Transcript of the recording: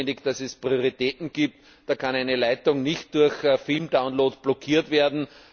Es ist notwendig, dass es Prioritäten gibt, da kann eine Leitung nicht durch Filmdownloads blockiert werden.